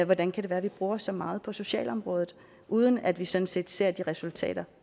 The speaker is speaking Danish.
hvordan kan det være at vi bruger så meget på socialområdet uden at vi sådan set ser de resultater